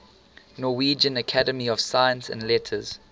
norwegian academy of science and letters